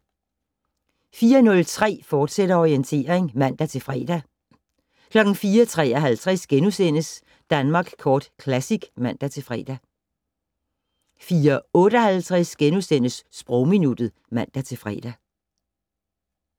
04:03: Orientering, fortsat (man-fre) 04:53: Danmark Kort Classic *(man-fre) 04:58: Sprogminuttet *(man-fre)